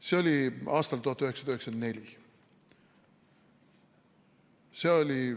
See oli aastal 1994.